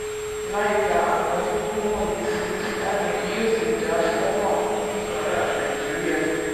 láìka àwọn kókó wọnyìí sí starlink yóò ṣì jà fún àwọn oníbàárà nàìjíríà.